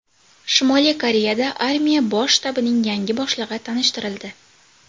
Shimoliy Koreyada armiya bosh shtabining yangi boshlig‘i tanishtirildi.